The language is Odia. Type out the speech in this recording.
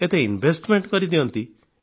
ଏତେ ସେମାନଙ୍କ ଟାଲେଣ୍ଟ ପ୍ରତିଭା ଉପଯୋଗ କରିଦିଅନ୍ତି